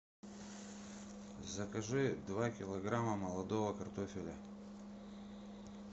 закажи два килограмма молодого картофеля